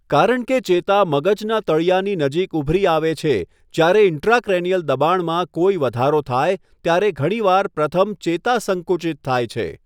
કારણ કે ચેતા મગજના તળિયાની નજીક ઉભરી આવે છે, જ્યારે ઇન્ટ્રાક્રેનિયલ દબાણમાં કોઈ વધારો થાય ત્યારે ઘણીવાર પ્રથમ ચેતા સંકુચિત થાય છે.